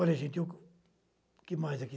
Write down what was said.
Olha, gente, eu... O que mais aqui?